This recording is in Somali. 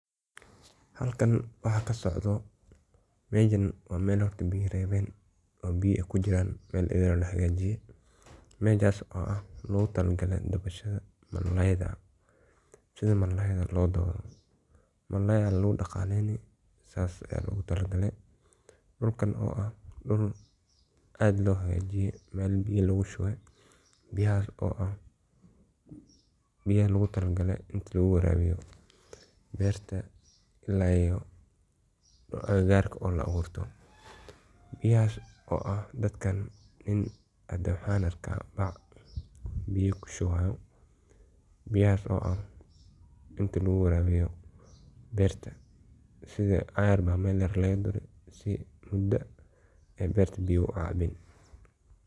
Halkan wax ka socdoh, mashan wa mal horta biya ay rawan oo biya aya kujiran oo la xagajiya, majas oo ah lagu talgala malayda side malayda loo dawo malay aya lagu daqalayan markas aya dulkan oo ah, dul aad loo xagajiya mal miya lagu shuba, biyahas oo, biya logu tala gali ina lagu warawiyo, ila iyo aga garta la awirtoh, biyahas oo dadkan in ay waxan argah bac biya ku shubayo, biyhas oo ah inta lagu warawiyo barta sida ayar mal yar laga duri sii ay barta biya u caban.